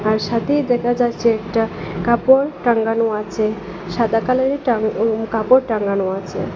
তার সাথেই দেখা যাচ্ছে একটা কাপড় টাঙ্গানো আছে সাদা কালারের টাং ও কাপড় টাঙানো আছে।